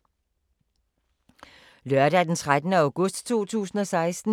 Lørdag d. 13. august 2016